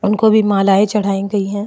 उनको भी मालाये चढ़ाई गई हैं।